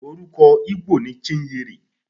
Orúkọ Igbo ni Chinyere.